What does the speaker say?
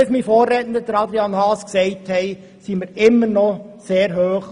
Wie mein Vorredner Adrian Haas gesagt hat, ist die Steuerbelastung immer noch sehr hoch.